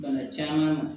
Bana caman